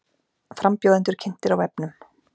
Frambjóðendur kynntir á vefnum